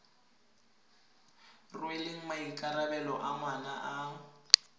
rweleng maikarabelo a ngwana a